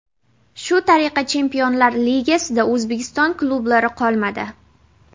Shu tariqa Chempionlar ligasida O‘zbekiston klublari qolmadi.